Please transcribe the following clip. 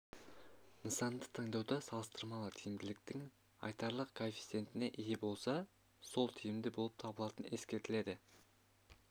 нысанды таңдауда салыстырмалы тиімділіктің айтарлық коэффициентіне ие болса сол тиімді болып табылатыны ескеріледі